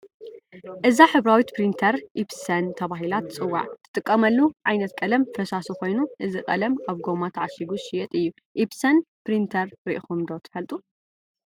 እዛ ሕብራዊት ፕሪንተር ኢፕሰን ተባሂላ ትፅዋዕ፡፡ ትጥቀመሉ ዓይነት ቀለም ፈሳሲ ኮይኑ እዚ ቀለም ኣብ ጐማ ተዓሽጉ ዝሽየጥ እዩ፡፡ ኢፕሰን ፕሪንተር ርኢኹም ዶ ትፈልጡ?